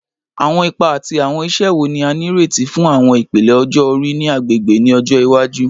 Awọn ipa ati awọn iṣẹ wo ni a nireti fun awọn ipele ọjọ-ori ni agbegbe ni ọjọ iwaju?